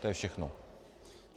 To je všechno.